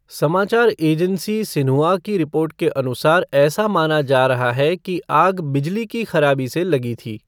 समाचार agency Xinhua की report के अनुसार ऐसा माना जा रहा है कि आग बिजली की ख़राबी से लगी थी।